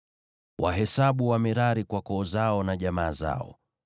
“Wahesabu Wamerari kwa koo zao na jamaa zao.